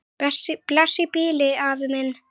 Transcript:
Bless í bili, afi minn.